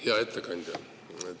Hea ettekandja!